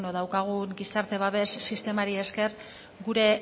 daukagun gizarte babes sistemari esker gure